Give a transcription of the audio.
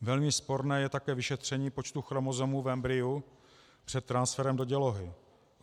Velmi sporné je také vyšetření počtu chromozomů v embryu před transferem do dělohy.